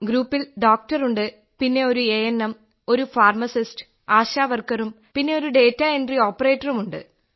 ഗ്രൂപ്പിൽ ഡോക്ടർ ഉണ്ട് പിന്നെ ഒരു എ എൻ എം ഒരു ഫാർമസിസ്റ്റ് ആശ വർക്കറും പിന്നെ ഒരു ഡാറ്റ എൻട്രി ഓപ്പറേറ്ററും ഉണ്ട്